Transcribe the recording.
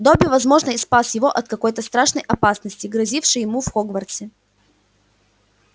добби возможно и спас его от какой-то страшной опасности грозившей ему в хогвартсе